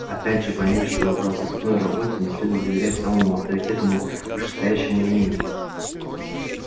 опять же пойми что в розыскной работе не следует доверять самому авторитетному вышестоящему мнению